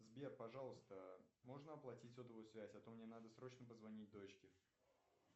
сбер пожалуйста можно оплатить сотовую связь а то мне надо срочно позвонить дочке